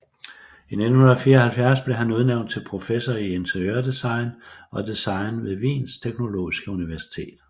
I 1974 blev han udnævnt til professor i interiørdesign og design ved Wiens teknologiske universitet